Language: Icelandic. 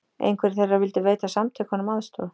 Einhverjir þeirra vildu veita samtökunum aðstoð